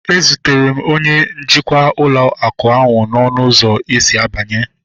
E zutere m onye njikwa ụlọ akụ ahu n'ọnụ ụzọ esi abanye